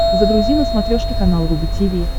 загрузи на смотрешке канал рубль ти ви